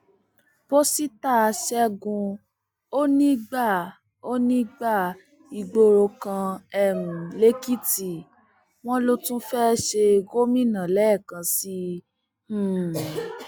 pọsíta ṣẹgun òní gba òní gba ìgboro kan um lèkìtì wọn ló tún fẹẹ ṣe gómìnà lẹẹkan sí i um